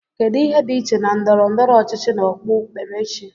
kedu ihe dị iche na ndọrọ ndọrọ ọchịchị na okpu kperechi